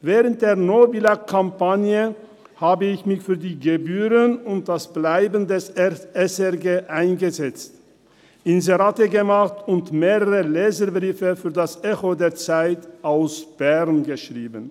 Während der «No Billag»-Kampagne habe ich mich für die Gebühren und das Bestehenbleiben der SRG eingesetzt, Inserate gemacht und mehrere Leserbriefe für das «Echo der Zeit» aus Bern geschrieben.